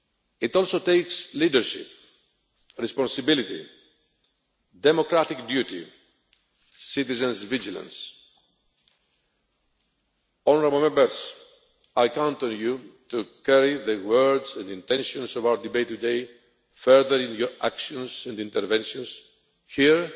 It also takes leadership, responsibility, democratic duty, citizens' vigilance. Honourable Members, I count on you to carry the words and intentions of our debate today further in your actions and interventions, here